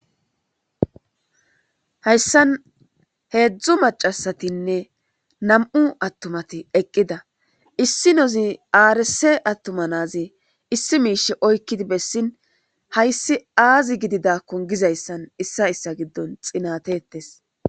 Hayssan hedzdzu maccasatinne nam'u attumati eqqida issinozi arise attuma nazi issi mishe oyikkidi bessin hayssi azi gididako gizayssan isay issa giddon xinatetes.